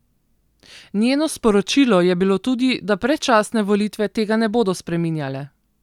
Njeno sporočilo je bilo tudi, da predčasne volitve tega ne bodo spreminjale.